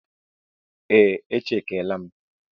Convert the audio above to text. Ee, e chekiela m.